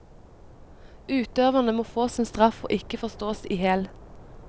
Utøverne må få sin straff og ikke forstås ihjel.